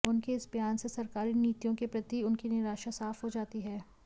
उनके इस बयान से सरकारी नीतियों के प्रति उनकी निराशा साफ़ हो जाती है